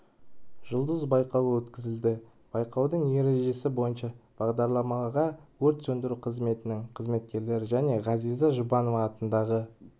жұлдыз байқауы өткізілді байқаудың ережесі бойынша бағдарламаға өрт сөндіру қызметінің қызметкерлері мен ғазиза жұбанова атындағы